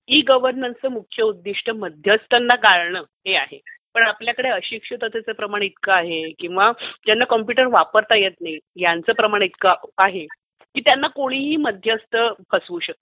E गव्हर्नन्सचं मुख्य उद्दिष्ट मध्यस्थांना गाळणे हे आहे. पण आपल्याकडे अशिक्षिततेचं प्रमाण इतकं आहे किंवा ज्यांना कम्प्युटर वापरता येत नाही त्यांचं प्रमाण इतकं आहे की त्यांना कोणीही मध्यस्थ फसवू शकतील.